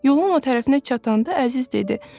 Yolun o tərəfinə çatanda Əziz dedi: